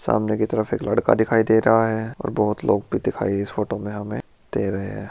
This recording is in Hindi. सामने की तरफ एक लड़का दिखाई दे रहा है और बहुत लोग भी दिखाइए इस फोटो में हमें दे रहे हैं।